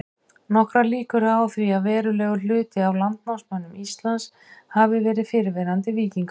Nokkrar líkur eru á því að verulegur hluti af landnámsmönnum Íslands hafi verið fyrrverandi víkingar.